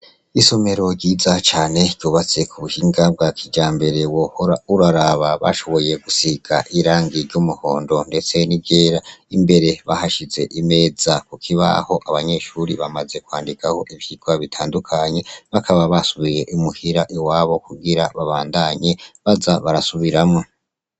Isomero ryiza cane ryubatse ku buhinga bwa kija mbere wohora uraraba bashoboye gusika irang iryo umuhondo, ndetse ni gera imbere bahashize imeza kukibaho abanyeshuri bamaze kwandikaho ivyirwa bitandukanye bakaba basubiye imuhira iwabo kugira babandanye baza barasube biramwa.